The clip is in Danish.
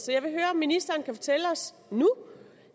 jeg vil høre om ministeren kan fortælle os nu